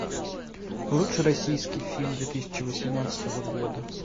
лучший российский фильм две тысячи восемнадцатого года